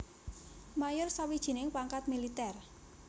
Mayor sawijining pangkat militèr